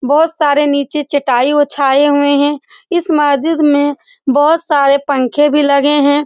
बहुत सारे नीचे चटाई ओछाई हुई है इस मस्जिद में बहुत सारे पंखे भी लगे हैं।